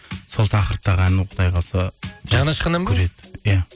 сол тақырыптағы ән құдай қаласа иә